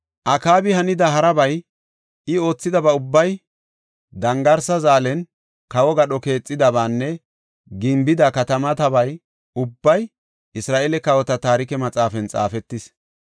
Akaabi hanida harabay, I oothidaba ubbay, dangarsa zaalen kawo gadho keexidabaanne gimbida katamatabay ubbay Isra7eele kawota Taarike Maxaafan xaafetis.